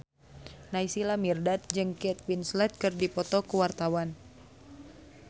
Naysila Mirdad jeung Kate Winslet keur dipoto ku wartawan